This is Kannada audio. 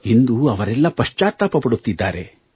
ಇಂದು ಅವರೆಲ್ಲ ಪಶ್ಚಾತ್ತಾಪಪಡುತ್ತಿದ್ದಾರೆ